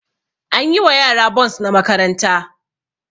An yi wa yara bons na makaranta